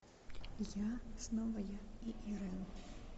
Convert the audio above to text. я снова я и ирэн